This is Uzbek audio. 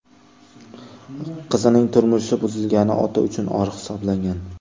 Qizining turmushi buzilgani ota uchun or hisoblangan.